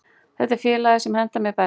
Þetta er félagið sem hentar mér best.